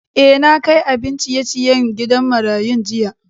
Eh, na kai abin ciye-ciyen gidan marayun jiya.